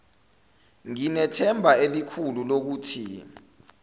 nginethemba elikhulu lokuthi